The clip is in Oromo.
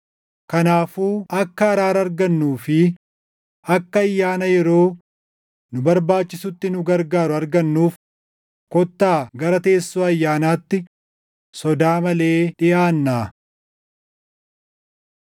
Kanaafuu akka araara argannuu fi akka ayyaana yeroo nu barbaachisutti nu gargaaru argannuuf kottaa gara teessoo ayyaanaatti sodaa malee dhiʼaannaa.